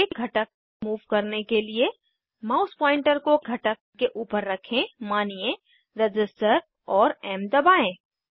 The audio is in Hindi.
एक घटक मूव करने के लिए माउस पॉइंटर को घटक के ऊपर रखें मानिये रज़िस्टर और एम दबाएं